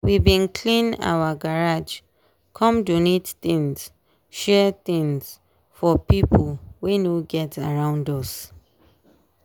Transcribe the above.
we bin clean our garage come donate things share things for pipo wey no get around around us.